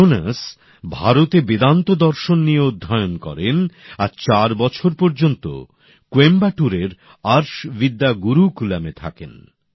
Jones ভারতে বেদান্ত দর্শন নিয়ে অধ্যয়ন করেন আর চার বছর পর্যন্ত কোয়েম্বাটুরের আর্শ বিদ্যা গুরুকুলামে থাকেন